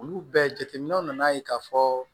Olu bɛɛ jateminɛw nana ye k'a fɔ